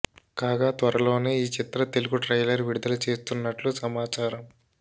కాగా త్వరలోనే ఈ చిత్ర తెలుగు ట్రైలర్ విడుదల చేస్తున్నట్లు సమాచారం